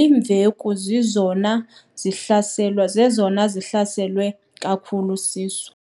iimveku zizona zihlaselwa kakhulu siso."